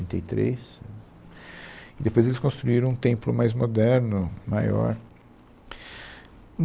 e três, e depois eles construíram um templo mais moderno, maior.